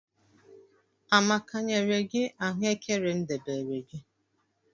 amaka nyere gi ahụekere m debere gi?